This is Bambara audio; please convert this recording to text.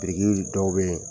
Biriki dɔw bɛ yen